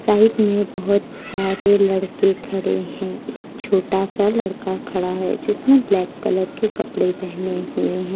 Side में बहोत सारे लड़के खड़े हैं एक छोटा सा लड़का खड़ा है जिसने ब्लैक कलर के कपड़े पहने हुए हैं।